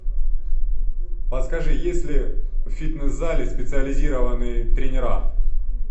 подскажи есть ли в фитнес зале специализированные тренера